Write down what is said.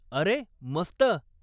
अरे मस्त.